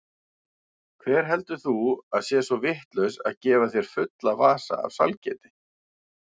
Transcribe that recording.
Hver heldur þú að sé svo vitlaus að gefa þér fulla vasa af sælgæti?